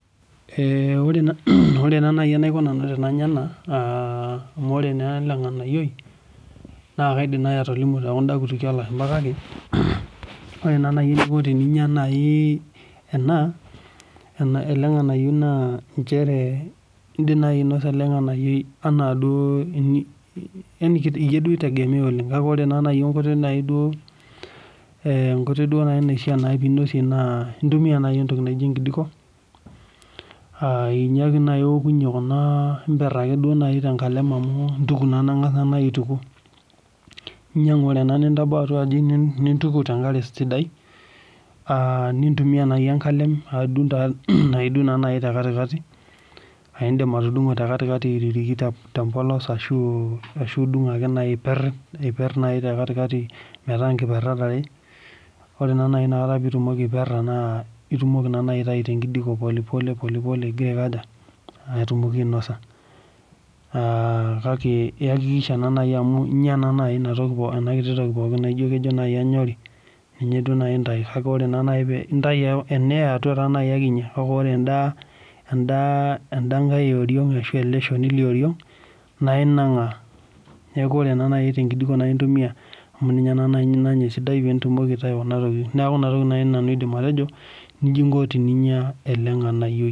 Ore naa naai enaiko nanu enanya ena naa amu ore naa ela ng'anayioi naa kaaidim naai atolimu tookunda kutukie oo lashumpa kake ore naa naai enaiko tenanya ena, ele ng'anayioi naa nchere indim naai ainosa ele ng'anayioi enaa duo yani iyie duo eitegemea oleng' kake ore naai enkoitoi duo naa naifaa piinosie naa intumia naai entoki naijo enkijiko, ninye ake naai iwokunye kunaa, imberr ake duo naai tenkalem amu intuku naa, ang'as naai aituku, inyang'u ore ena nintabau aji nintuku tenkare sidai, nintumia naai enkalem adung', naaidung' naai te kati kati, aindim atudung'o te kati kati aiririki te mbolos, ashu idung' naai aiperr, aiperr ake te kati kati metaa inkiperrat are, ore naai piitumomi aiperra naai itumoki naa naai aitai tenkijiko pole pole igira aiko aja, atumoki ainosa. Kake iyakikisha naa naai amu inya naai ena kito toki pookin naaijo naai kenyori, ninye duo naai intai, kake ore naai pee intai, ena e atwa ake inya, ore enda, enda kae e oriong' ashu ele shoni le oriong nainang'aa . Neeku ore naa naai enkijiko intumia amu ninye naa naai nanya esidai piitumoki aitai kuna tokiting. Neeku ina toki nanu aaidim atejo nija inko teninyia ele ng'anayio